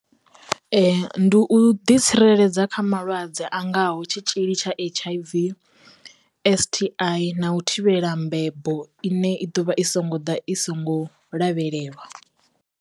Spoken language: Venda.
Ndi u ḓi tsireledza kha malwadze a ngaho tshitzhili tsha H_I_V, S_T_I na u thivhela mbebo ine i ḓovha i songo ḓa i songo lavhelelwa.